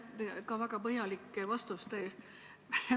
Ka suur aitäh väga põhjalike vastuste eest!